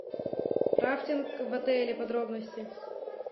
рафтинг в отеле подробности